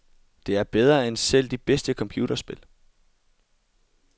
Det er bedre end selv de bedste computerspil.